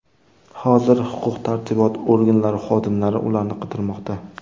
Hozir huquq-tartibot organlari xodimlari ularni qidirmoqda.